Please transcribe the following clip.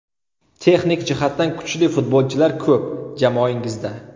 Texnik jihatdan kuchli futbolchilar ko‘p jamoangizda.